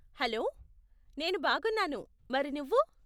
Hello, నేను బాగున్నాను, మరి నువ్వు?